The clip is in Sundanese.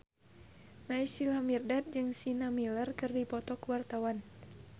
Naysila Mirdad jeung Sienna Miller keur dipoto ku wartawan